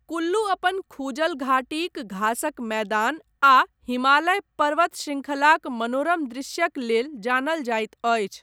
कुल्लू अपन खूजल घाटीक घासक मैदान आ हिमालय पर्वत शृङखलाक मनोरम दृश्यक लेल जानल जाइत अछि।